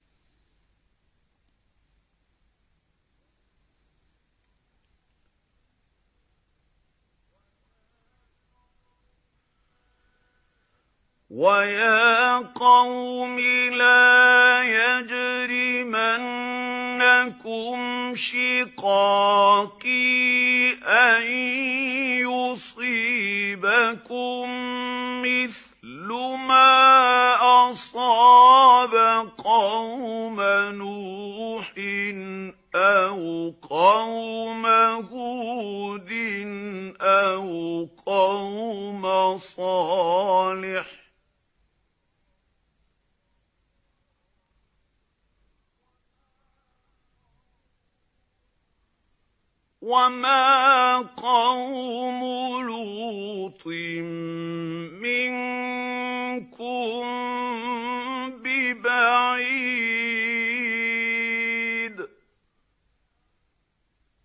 وَيَا قَوْمِ لَا يَجْرِمَنَّكُمْ شِقَاقِي أَن يُصِيبَكُم مِّثْلُ مَا أَصَابَ قَوْمَ نُوحٍ أَوْ قَوْمَ هُودٍ أَوْ قَوْمَ صَالِحٍ ۚ وَمَا قَوْمُ لُوطٍ مِّنكُم بِبَعِيدٍ